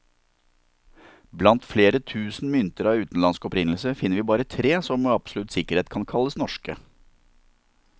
Blant flere tusen mynter av utenlandsk opprinnelse, finner vi bare tre som med absolutt sikkerhet kan kalles norske.